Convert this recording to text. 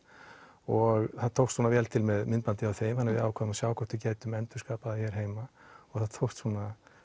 og það tókst svona vel til með myndbandi frá þeim þannig við ákváðum að sjá hvort við gætum endurskapað það hér heima og það tókst svona